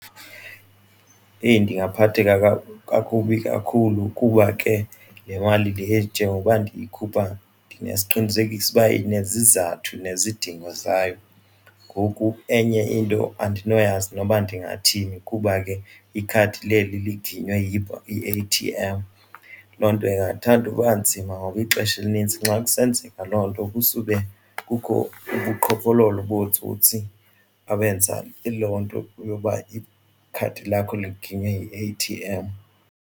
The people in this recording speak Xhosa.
Heyi ndingaphatheka kakubi kakhulu kuba ke le mali le njengokuba ndiyikhupha ndinesiqinisekiso ukuba inesizathu nezidingo zayo. Ngoku enye into andinoyazi noba ndingathini kuba ke ikhadi leli liginyiwe yi-A_T_M. Loo nto ndingathanda uba nzima ngoba ixesha elinintsi xa kusenzeka loo nto kusube kukho ubuqhophololo bootsotsi abenza yiloo nto yoba ikhadi lakho liginyiwe yi-A_T_M.